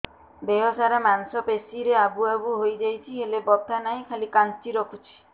ଦେହ ସାରା ମାଂସ ପେଷି ରେ ଆବୁ ଆବୁ ହୋଇଯାଇଛି ହେଲେ ବଥା ନାହିଁ ଖାଲି କାଞ୍ଚି ରଖୁଛି